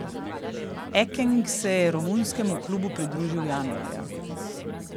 Ekeng se je romunskemu klubu pridružil januarja.